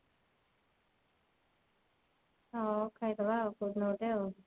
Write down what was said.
ହଉ ଖାଇଦବା କଉଦିନ ଗୋଟେ ଆଉ